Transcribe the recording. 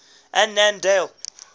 annandale